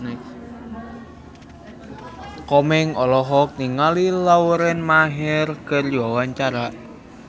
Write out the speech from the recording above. Komeng olohok ningali Lauren Maher keur diwawancara